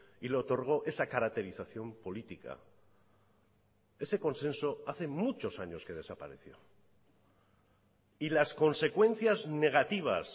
y le otorgó esa caracterización política ese consenso hace muchos años que desapareció y las consecuencias negativas